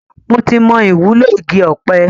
Mo ti mo ìwúlò igi ọpẹ